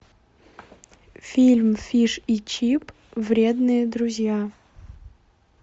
фильм фиш и чип вредные друзья